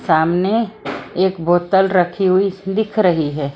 सामने एक बोतल रखी हुई दिख रही है।